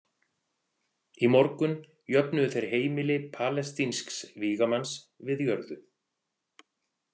Í morgun jöfnuðu þeir heimili palestínsks „vígamanns“ við jörðu.